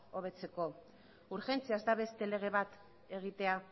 hobetzeko urgentziaz da beste lege bat egitea